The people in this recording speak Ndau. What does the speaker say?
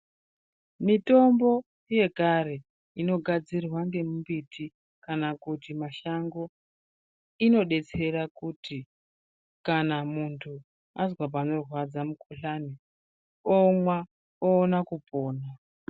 Mitombo yekare inogadzirwa nemumbiti kana kuti mashango. Inobetsera kuti kana muntu azwa panorwadza mukuhlani onwa oona kupona.